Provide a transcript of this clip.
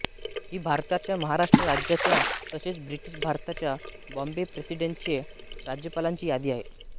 ही भारताच्या महाराष्ट्र राज्याच्या तसेच ब्रिटिश भारताच्या बॉम्बे प्रेसिडेन्सीच्या राज्यपालांची यादी आहे